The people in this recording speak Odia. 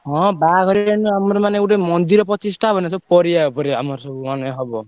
ହଁ ବାହାଘରିଆ ନୁହେଁ ଆମର ମାନେ ଗୋଟେ ମନ୍ଦିର ପ୍ରତିଷ୍ଠା ହବ ନା ସବୁ ପରିବା ଉପରେ ଆମର ସବୁ ମାନେ ହବ।